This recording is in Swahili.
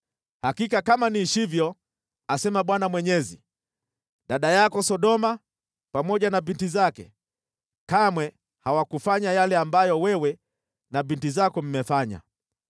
Hakika kama niishivyo, asema Bwana Mwenyezi, dada yako Sodoma pamoja na binti zake, kamwe hawakufanya yale ambayo wewe na binti zako mmefanya.